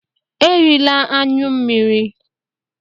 Erila anyụ m!